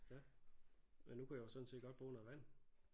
Ja men nu kunne jeg jo sådan set godt bruge noget vand